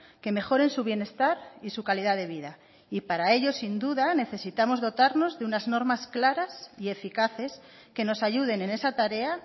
que mejoren su bienestar y su calidad de vida y para ello sin duda necesitamos dotarnos de unas normas claras y eficaces que nos ayuden en esa tarea